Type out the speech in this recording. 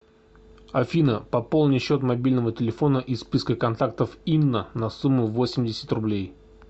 афина пополни счет мобильного телефона из списка контактов инна на сумму восемьдесят рублей